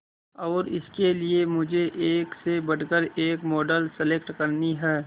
और इसके लिए मुझे एक से बढ़कर एक मॉडल सेलेक्ट करनी है